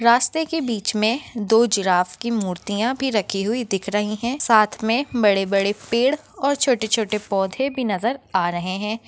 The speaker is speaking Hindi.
रास्ते के बिच मे दो जिराफ़ की मूर्तिया भी रखी हुई दिख रही है साथ मे बड़े बड़े पेड़ और छोटे छोटे पौधे भी नज़र आ रहे है।